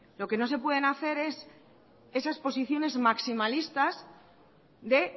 lo que no se pueden hacer es esas posiciones maximalistas de